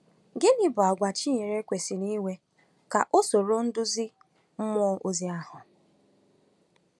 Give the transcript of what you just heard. Gịnị bụ àgwà Chinyere kwesịrị inwe ka ọ soro nduzi mmụọ ozi ahụ?